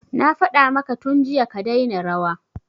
Na faɗa maka tun jiya ka daina rawa